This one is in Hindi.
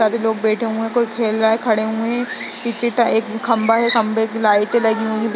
सारे लोग बैठे हुए है कोई खेल रहा है खड़े हुए है पीछे टा एक खंबा है खंबे पर लाइट लगी हुई है।